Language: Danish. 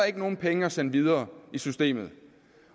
ikke nogen penge at sende videre i systemet